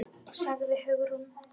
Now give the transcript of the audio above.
sagði Hugrún.